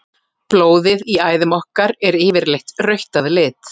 blóðið í æðum okkar er yfirleitt rautt að lit